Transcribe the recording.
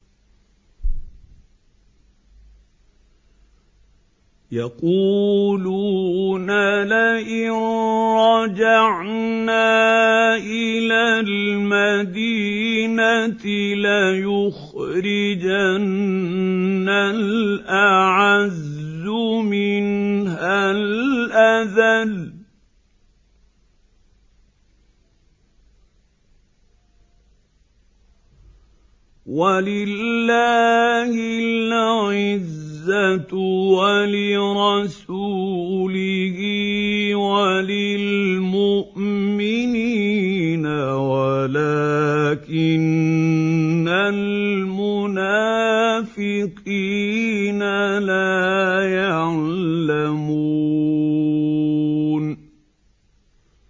يَقُولُونَ لَئِن رَّجَعْنَا إِلَى الْمَدِينَةِ لَيُخْرِجَنَّ الْأَعَزُّ مِنْهَا الْأَذَلَّ ۚ وَلِلَّهِ الْعِزَّةُ وَلِرَسُولِهِ وَلِلْمُؤْمِنِينَ وَلَٰكِنَّ الْمُنَافِقِينَ لَا يَعْلَمُونَ